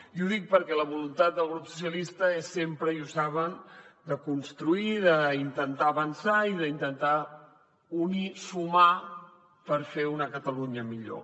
i ho dic perquè la voluntat del grup socialistes és sempre i ho saben de construir i d’intentar avançar i d’intentar unir sumar per fer una catalunya millor